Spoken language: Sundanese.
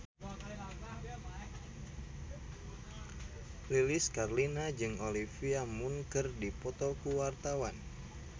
Lilis Karlina jeung Olivia Munn keur dipoto ku wartawan